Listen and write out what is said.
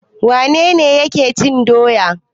Wane ne yake cin doya?